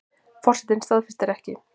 Forsetinn staðfestir ekki